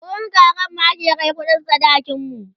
wurin kakanmu ake Kai kuɗin sadakin mu